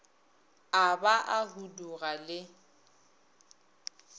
a ba a huduga le